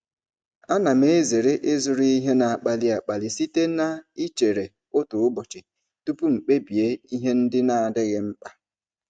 Ana m ezere ịzụrụ ihe na-akpali akpali site na ichere otu ụbọchị tupu m kpebie ihe ndị na-adịghị mkpa.